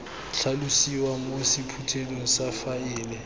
tlhalosiwa mo sephuthelong sa faele